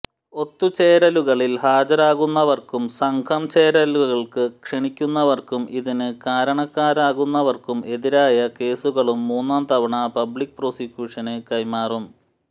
ഒത്തുചേരലുകളിൽ ഹാജരാകുന്നവർക്കും സംഘം ചേരലുകൾക്ക് ക്ഷണിക്കുന്നവർക്കും ഇതിന് കാരണക്കാരാകുന്നവർക്കും എതിരായ കേസുകളും മൂന്നാം തവണ പബ്ലിക് പ്രോസിക്യൂഷന് കൈമാറും